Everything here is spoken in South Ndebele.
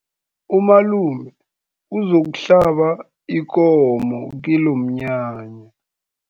Umalume uzokuhlaba ikomo kilomnyanya.